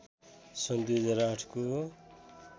सन् २००८ को